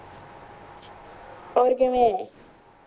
ਹੋਰ ਕਿਵੇਂ